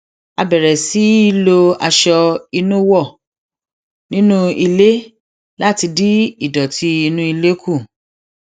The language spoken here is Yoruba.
a bèrè sí í lo aṣọ ìnuwọ ní nú ilé láti dín ìdòtí inú ilé kù